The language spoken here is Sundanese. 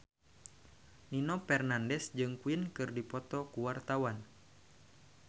Nino Fernandez jeung Queen keur dipoto ku wartawan